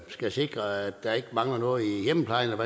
skal sikre at der ikke mangler noget i hjemmeplejen